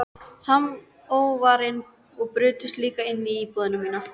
Samóvarinn og brutust líka inn í íbúðina mína.